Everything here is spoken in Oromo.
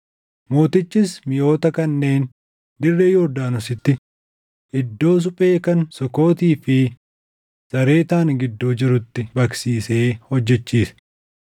Mootichis miʼoota kanneen dirree Yordaanositti iddoo suphee kan Sukootii fi Zaaretaan gidduu jirutti baqsiisee hojjechiise.